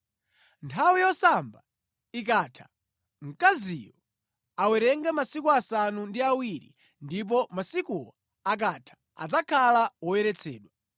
“ ‘Nthawi yosamba ikatha, mkaziyo awerenge masiku asanu ndi awiri, ndipo masikuwo akatha adzakhala woyeretsedwa.